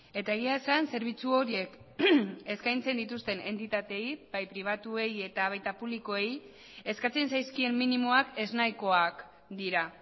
eta egia esan zerbitzu horiek eskaintzen dituzten entitateei bai pribatuei eta baita publikoei eskatzen zaizkien minimoak eznahikoak dira